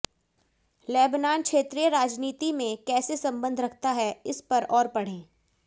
Lebanon क्षेत्रीय राजनीति में कैसे संबंध रखता है इस पर और पढ़ें